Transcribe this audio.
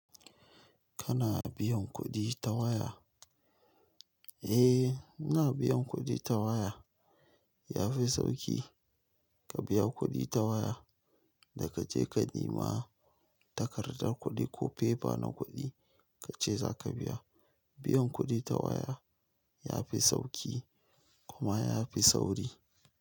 Kana biyan kuɗi ta waya? Eh, ina biyan kuɗi ta waya. Yafi sauƙi ka biya kuɗi ta waya, da ka je ka nema takardar kuɗi ko fefa na kuɗi kace zaka biya. Biyan kuɗi ta waya yafi sauƙi kuma yafi sauri.